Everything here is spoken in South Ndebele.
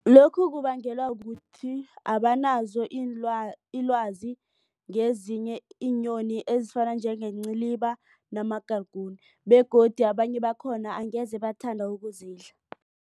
Lokhu kubangelwa kukuthi abanazo ilwazi ngezinye iinyoni ezifana njengenciliba namagalagune begodu abanye bakhona angeze bathanda ukuzidla.